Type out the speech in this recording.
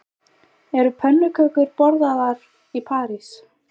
Eru pönnukökur borðaðar í París